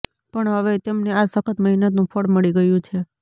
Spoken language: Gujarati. પણ હવે તેમને આ સખત મહેનતનું ફળ મળી ગયું છે